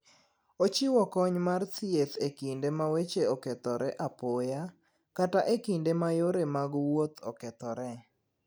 Ochiwo kony mar thieth e kinde ma weche okethore apoya, kata e kinde ma yore mag wuoth okethore.